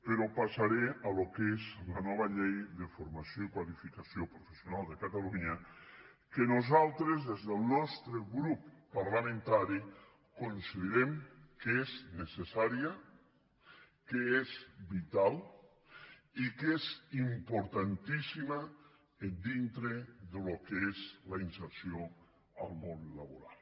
però passaré al que és la nova llei de formació i qualificació professionals de catalunya que nosaltres des del nostre grup parlamentari considerem que és necessària que és vital i que és importantíssima dintre del que és la inserció al món laboral